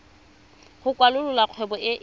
go kwalolola kgwebo e e